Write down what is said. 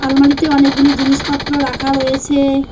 আলমারিতে অনেকগুলি জিনিসপত্র রাখা রয়েছে।